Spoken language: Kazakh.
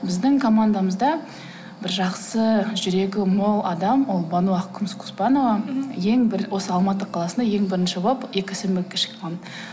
біздің командамызда бір жақсы жүрегі мол адам ол бану ақкүміс коспанова мхм осы алматы қаласында ең бірінші болып экосенбілікке шыққан